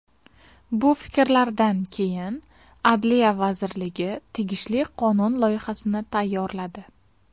Bu fikrlardan keyin Adliya vazirligi tegishli qonun loyihasini tayyorladi.